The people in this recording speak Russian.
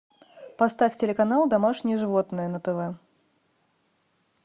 поставь телеканал домашние животные на тв